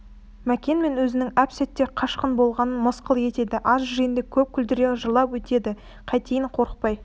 мәкен мен өзінің әп-сәтте қашқын болғанын мысқыл етеді аз жиынды көп күлдіре жырлап өтеді қайтейін қорықпай